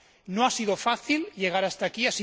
No ha sido fácil llegar hasta aquí